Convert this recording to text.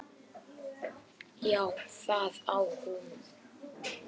Já, það á hún.